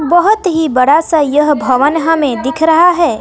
बहोत ही बड़ा सा यह भवन हमे दिख रहा है।